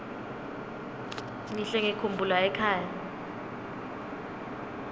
ngihle ngikhumbula ekhaya